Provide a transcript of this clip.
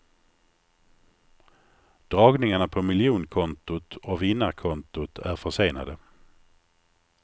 Dragningarna på miljonkontot och vinnarkontot är försenade.